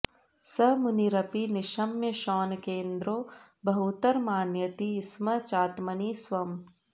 स मुनिरपि निशम्य शौनकेन्द्रो बहुतरमानयति स्म चात्मनि स्वम्